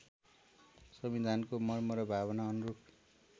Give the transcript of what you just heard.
संविधानको मर्म र भावना अनुरूप